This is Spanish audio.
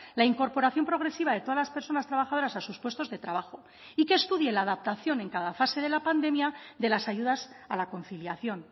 la incorporación progresiva de todas las personas trabajadoras a sus puestos de trabajo y que estudie la adaptación en cada fase de la pandemia de las ayudas a la conciliación